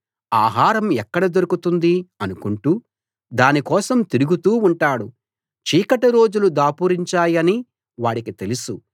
ఆహారం ఎక్కడ దొరుకుతుంది అనుకుంటూ దాని కోసం తిరుగుతూ ఉంటాడు చీకటి రోజులు దాపురించాయని వాడికి తెలుసు